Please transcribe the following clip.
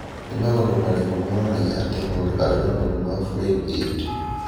Nĩ maũndũ marĩkũ monanagia atĩ mũndũ arĩ na mũrimũ wa Flynn Aird?